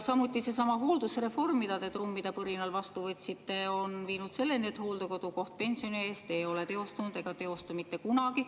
Samuti on seesama hooldusreform, mida te trummide põrinal vastu võtsite, viinud selleni, et hooldekodukoht pensioni eest ei ole teostunud ega teostu mitte kunagi.